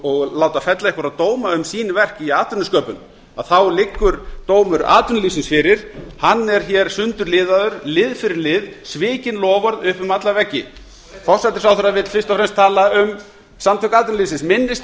og láta fella einhverja dóma um sín verk í atvinnusköpun þá liggur dómur atvinnulífsins fyrir hann er sundurliðaður lið fyrir lið svikin loforð upp um alla veggi forsætisráðherra vill fyrst og fremst tala um samtök atvinnulífsins minnist